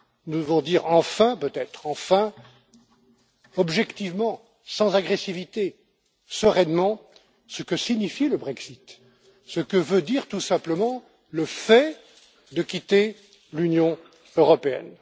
Nous devons peut être enfin dire objectivement, sans agressivité et sereinement ce que signifie le Brexit, ce que veut dire tout simplement le fait de quitter l'Union européenne.